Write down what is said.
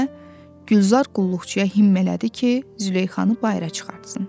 dedikdə, Gülzar qulluqçuya himm elədi ki, Züleyxanı bayıra çıxartsın.